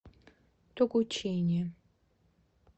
тогучине